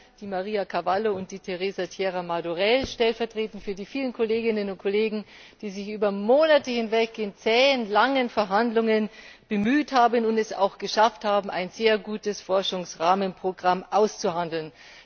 Ehler, Maria Carvalho und Teresa Riera Madurell, stellvertretend für die vielen Kolleginnen und Kollegen, die sich über Monate hinweg in zähen, langen Verhandlungen bemüht haben und es auch geschafft haben, ein sehr gutes Forschungsrahmenprogramm auszuhandeln.